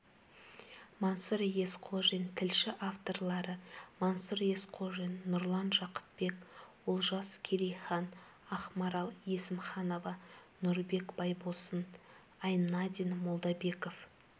мансұр есқожин тілші авторлары мансұр есқожин нұрлан жақыпбек олжас керейхан ақмарал есімханова нұрбек байбосын айнадин молдабеков